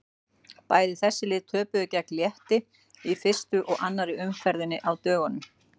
Bæði þessi lið töpuðu gegn Létti í fyrstu og annarri umferðinni á dögunum.